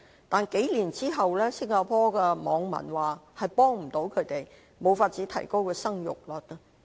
但是，數年之後，新加坡的網民說幫不到他們，無法提高生育率。